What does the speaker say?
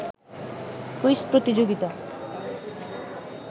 quiz প্রতিযোগিতা